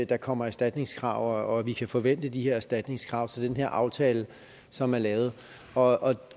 der kommer erstatningskrav og at vi kan forvente de her erstatningskrav til den her aftale som er lavet og